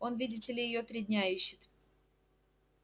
он видите ли её три дня ищет